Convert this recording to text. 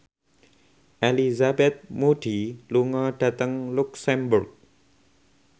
Elizabeth Moody lunga dhateng luxemburg